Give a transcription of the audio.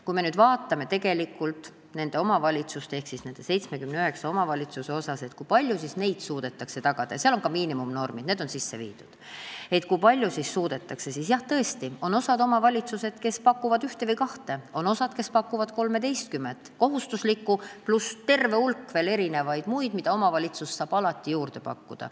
Kui me vaatame neid 79 omavalitsust, seda, kui paljudes neid suudetakse tagada – seal on ka miinimumnormid sisse viidud –, siis jah, on omavalitsusi, kes pakuvad ühte või kahte teenust, aga on omavalitsusi, kes pakuvad 13 kohustuslikku teenust pluss tervet hulka muid, mida omavalitsus saab alati juurde pakkuda.